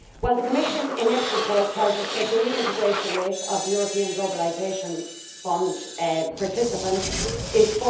The Commission in its report tells us that the reintegration rate of European Globalisation Fund participants is